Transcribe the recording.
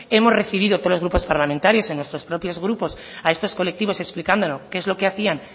hemos recibido tres grupos parlamentarios en nuestros propios grupos a estos colectivos explicando qué es lo que hacían